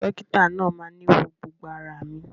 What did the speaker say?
Dokita naa máa ni wọ gbogbo ara mi.